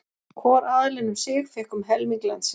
Hvor aðilinn um sig fékk um helming landsins.